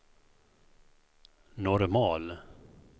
normal